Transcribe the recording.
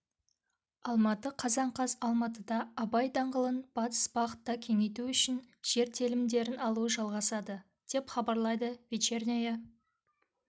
алматы қазан қаз алматыда абай даңғылын батыс бағытта кеңейту үшін жер телімдеріналу жалғасады деп хабарлайды вечерняя